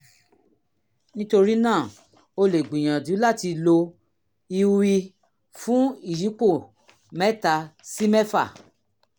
nítorí náà o lè gbìyànjú láti láti lo iui fún ìyípo mẹ́ta sí mẹ́fà